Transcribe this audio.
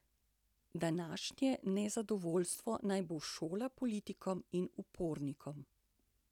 Današnje nezadovoljstvo naj bo šola politikom in upornikom.